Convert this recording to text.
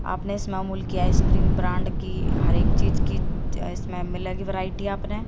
आपने इस मामूल की आइसक्रीम ब्रांड की हर एक चीज की इसमें मिलेगी वैरायटी आपने--